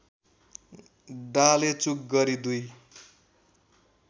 डालेचुक गरी दुई